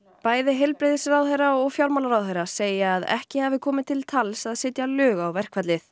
bæði heilbrigðisráðherra og fjármálaráðherra segja að ekki hafi komið til tals að setja lög á verkfallið